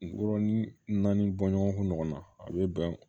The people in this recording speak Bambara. Wɔɔrɔnin nani bɔ ɲɔgɔn kun ɲɔgɔnna a be bɛn